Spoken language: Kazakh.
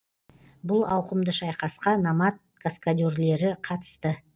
бұл ауқымды шайқасқа номад каскадерлері қатысты